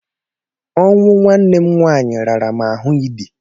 Ọnwụ nwanne m nwaanyị rara m ahụ ị dị.